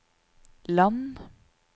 land